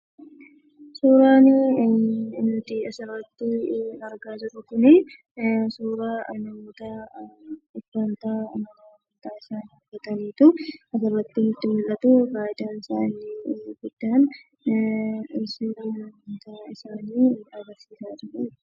Suuraan nuti asirratti argaa jirru kun, suuraa namoota Mana amantaa isaanii uffatanitu asirratti, nutti mul'atu. faayidaansaani inni guddaan seeraa amanta isaanii agarsiisa jiru jechudha.